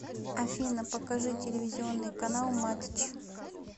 афина покажи телевизионный канал матч